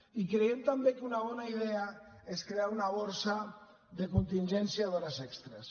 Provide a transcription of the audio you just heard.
i creiem també que una bona idea és crear una borsa de contingència d’hores extres